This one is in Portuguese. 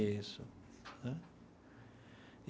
Isso né.